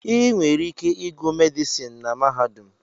Ị nwere ike ịgụ medịsịn na mahadum